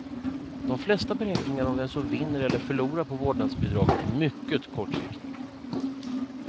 De flesta beräkningar om vem som vinner eller förlorar på vårdnadsbidraget är mycket kortsiktiga.